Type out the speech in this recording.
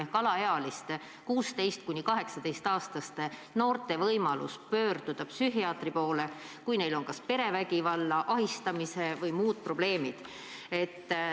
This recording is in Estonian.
See käsitleb alaealiste, 16–18-aastaste noorte võimalust pöörduda psühhiaatri poole, kui neil on kas perevägivalla, ahistamise või muud probleemid.